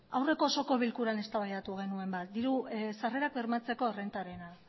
aurreko osoko bilkuran eztabaidatu genuen diru sarrerak bermatzeko errentarena